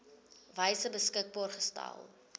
wyse beskikbaar gestel